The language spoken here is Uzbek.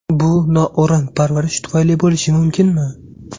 Bu noo‘rin parvarish tufayli bo‘lishi mumkinmi?